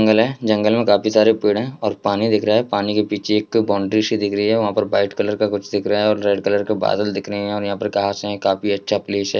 जंगल है जंगल में काफी सारे पेड़ हैं और पानी दिख रहा है| पानी के पीछे एक बाउंड्री सी दिख रही है| वहाँ पर वाइट कलर का कुछ दिख रहा है और रेड कलर के बादल दिख रहे हैं यहाँ पे और यहाँ पे काफी अच्छा प्लेस है।